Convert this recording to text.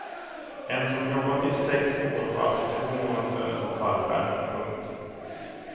En som jobbat i sex år får alltså två månadslöner som fallskärm. punkt